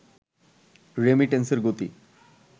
রেমিটেন্সের গতি